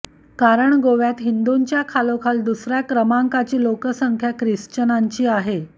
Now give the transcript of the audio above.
कारण गोव्यात हिंदूंच्या खालोखाल दुसऱ्या क्रमांकाची लोकसंख्या ख्रिश्चनांची आहे